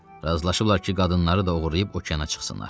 Razılaşıblar ki, qadınları da oğurlayıb okeana çıxsınlar.